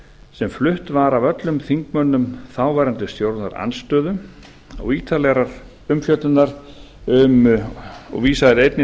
sem flutt var af öllum þingmönnum þáverandi stjórnarandstöðu og vísað er einnig